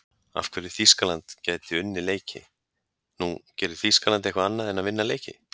Af hverju Þýskaland gæti unnið leiki: Nú, gerir Þýskaland eitthvað annað en að vinna leiki?